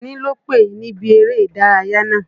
Àjàní lòpè níbi eré ìdárayá náà.